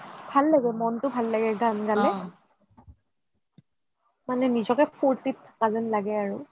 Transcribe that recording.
ভাল লাগে ভাল লাগে মনটো ভাল লাগে গানটো গালে মানে নিজকে ফুৰ্টিত থকা যেন লাগে